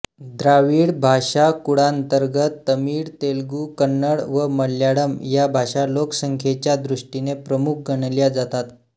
द्राविड भाषाकुळांतर्गत तमिळ तेलुगू कन्नड व मल्याळम या भाषा लोकसंख्येच्या दृष्टीने प्रमुख गणल्या जातात